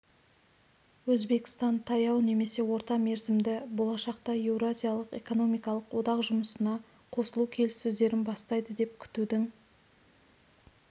өзбекстан таяу немесе орта мерзімді болашақта еуразиялық экономикалық одақ жұмысына қосылу келіссөздерін бастайды деп күтудің